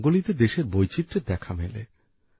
রঙ্গোলিতে দেশের বৈচিত্রের দেখা মেলে